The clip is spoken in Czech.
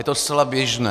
Je to zcela běžné.